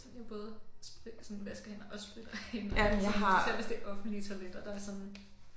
Altså jeg både altså vasker hænder og spritter af især hvis det er offentlige toiletter der er jeg sådan